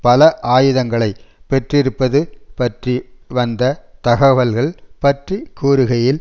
பல ஆயுதங்களை பெற்றிருப்பது பற்றி வந்த தகவல்கள் பற்றி கூறுகையில்